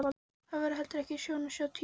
Það var heldur ekki sjón að sjá Týra.